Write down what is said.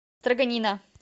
строганина